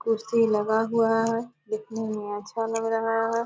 कुर्सी लगा हुआ है दिखने में अच्छा लग रहा है ।